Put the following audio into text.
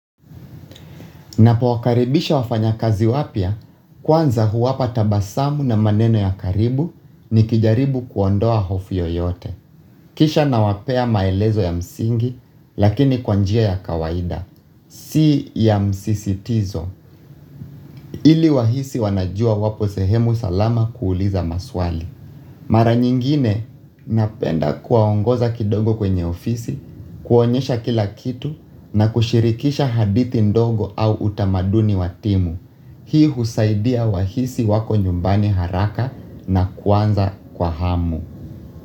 Napowakaribisha wafanyakazi wapya, kwanza huwapa tabasamu na maneno ya karibu nikijaribu kuondoa hofu yoyote. Kisha nawapea maelezo ya msingi, lakini kwa njia ya kawaida. Si ya msisitizo. Ili wahisi wanajua wapo sehemu salama kuuliza maswali. Mara nyingine napenda kuwaongoza kidogo kwenye ofisi, kuonyesha kila kitu na kushirikisha hadithi ndogo au utamaduni wa timu. Hii husaidia wahisi wako nyumbani haraka na kuanza kwa hamu.